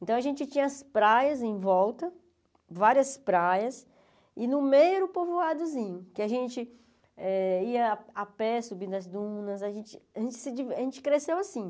Então a gente tinha as praias em volta, várias praias, e no meio era o povoadozinho, que a gente eh ia a pé, subir as dunas, a gente a gente se diver a gente cresceu assim.